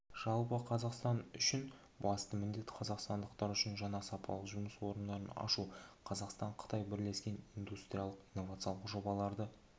жалпы қазақстан үшін басты міндет қазақстандықтар үшін жаңа сапалы жұмыс орындарын ашу қазақстан-қытай бірлескен индустриялық-инновациялық жобаларды